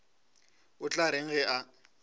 o tla reng ge a